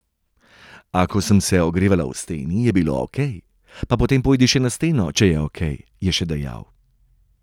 A, ko sem se ogrevala v steni, je bilo okej, pa potem pojdi še na steno, če je okej, je še dejal.